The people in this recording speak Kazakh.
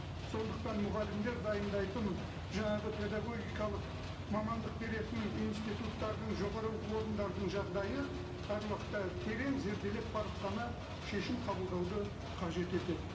сондықтан мұғалімдер дайындайтын жаңағы педагогикалық мамандық беретін институттардың жоғарғы оқу орындардың жағдайы әр уақытта терең зерделеп барып қана шешім қабылдауды қажет етеді